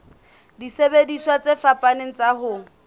disebediswa tse fapaneng tsa ho